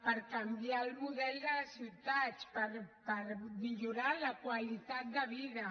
per canviar el model de les ciutats per millorar la qualitat de vida